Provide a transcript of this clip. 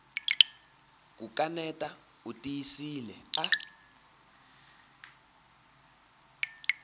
ku kaneta u tiyisile a